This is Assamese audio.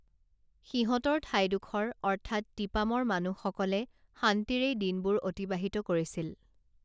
সিহঁতৰ ঠাইডোখৰ অৰ্থাৎ তিপামৰ মানুহসকলে শান্তিৰেই দিনবোৰ অতিবাহিত কৰিছিল